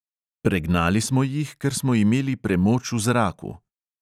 Pregnali smo jih, ker smo imeli premoč v zraku.